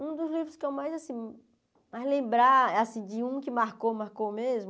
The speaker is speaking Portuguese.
É um dos livros que eu mais, assim, mais lembrar, assim, de um que marcou, marcou mesmo.